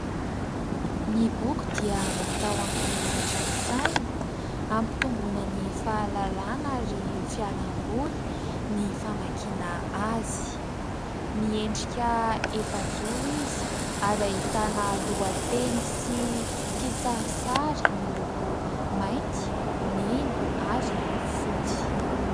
Ny boky dia natao hampihiratra ny saina hampitombonan' ny fahalalana ary ho fialamboly ny famakiana azy. Miendrika efa-joro izy ary ahitana lohateny sy kisarisary miloko mainty, mena ary fotsy.